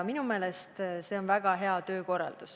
Minu meelest on see väga hea töökorraldus.